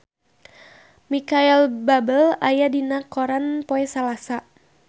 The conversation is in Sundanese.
Micheal Bubble aya dina koran poe Salasa